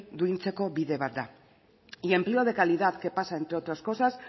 duintzeko bide bat da y empleo de calidad que pasa entre otras cosas